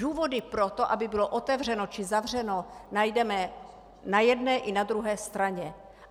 Důvody pro to, aby bylo otevřeno či zavřeno, najdeme na jedné i na druhé straně.